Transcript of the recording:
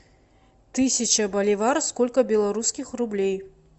тысяча боливар сколько белорусских рублей